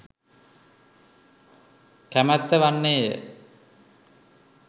කැමැත්ත වන්නේය.